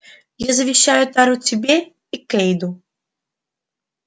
я завещаю тару тебе и кэйду